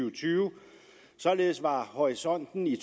og tyve således var horisonten i